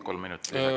Kolm minutit lisaks.